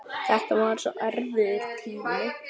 Þetta var svo erfiður tími.